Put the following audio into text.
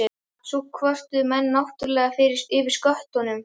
Svo kvörtuðu menn náttúrlega yfir sköttunum.